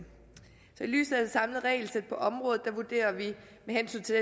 lyset af det samlede regelsæt på området vurderer vi med hensyn til